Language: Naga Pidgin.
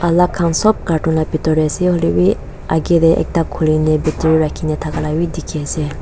alak khan sop carton la bitor tae ase hoilae bi akae tae ekta khuli na bitor tae rakhina thaka la bi dikhiase.